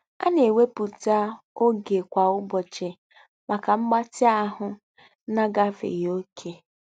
A na-ewepụta oge kwa ụbọchị maka mgbatị ahụ na-agafeghị oke?